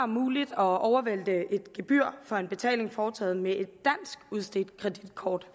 muligt at overvælte et gebyr for en betaling foretaget med et kreditkort